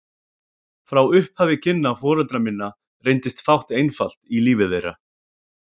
Frá upphafi kynna foreldra minna reyndist fátt einfalt í lífi þeirra.